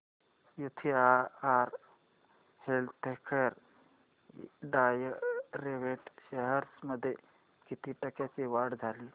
UTI healthcare direct shares मध्ये किती टक्क्यांची वाढ झाली